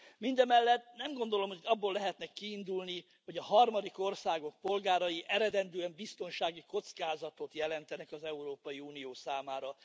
Mindemellett nem gondolom, hogy abból lehetne kiindulni, hogy a harmadik országok polgárai eredendően biztonsági kockázatot jelentenek az Európai Unió számára.